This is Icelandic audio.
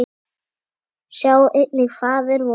Sjá einnig Faðir vor